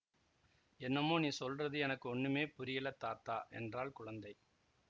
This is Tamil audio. என்னமோ நீ சொல்றது எனக்கு ஒண்ணுமே புரியலை தாத்தா என்றாள் குழந்தை